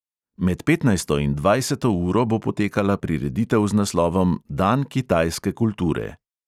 Med petnajsto in dvajseto uro bo potekala prireditev z naslovom dan kitajske kulture.